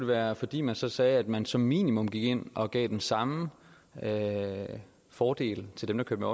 være fordi man så sagde at man som minimum gik ind og gav den samme fordel til dem der kører